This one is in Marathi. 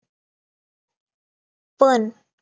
पण